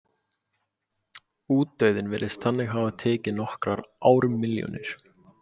útdauðinn virðist þannig hafa tekið nokkrar ármilljónir